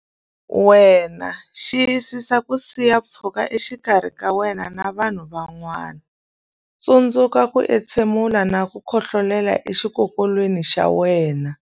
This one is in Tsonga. Wena Xiyisisa ku siya pfhuka exikarhi ka wena na vanhu van'wana Tsundzuka ku entshemula na ku khohlolela exikokolweni xa wena.